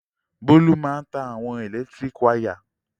Bólú máa ń ta àwọn ẹ̀lẹ́tíríkì wayà.